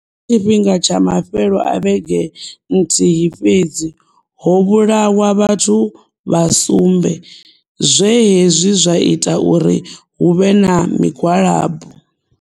Kha tshifhinga tsha mafhelo a vhege nthihi fhedzi, ho vhulawa vhathu vha sumbe, zwe hezwi zwa ita uri hu vhe na migwalabo.